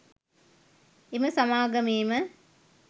එම සමාගමේම